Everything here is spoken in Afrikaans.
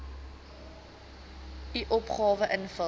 u opgawe invul